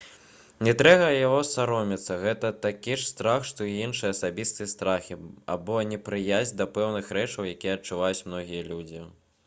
не трэба яго саромецца гэта такі ж страх што і іншыя асабістыя страхі або непрыязь да пэўных рэчаў якія адчуваюць многія людзі